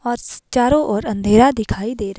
और चारों और अंधेरा दिखाई दे रहा--